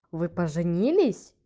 вы поженились